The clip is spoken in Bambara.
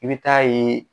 I bɛ taa ye